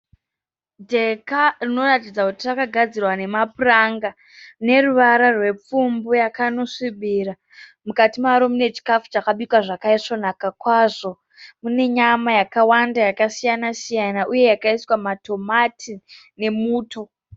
Dheka rinoratidza kuti rakagadzirwa nemapuranga neruvara rwepfumbu yakanosvibira. Mukati maro mune chikafu chakabikwa zvakaisvonaka kwazvo mune nyama yakawanda yakasiyana-siyana uye yakaiswa matomati nemuto.